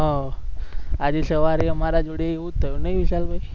આજે સવારે અમારા જોડે એવુ જ થયો નહી વિશાલભાઈ?